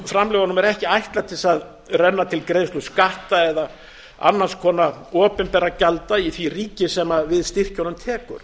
framlögunum er ekki ætlað til þess að renna til greiðslu skatta eða annars konar opinberra gjalda í því ríki sem við styrkjunum tekur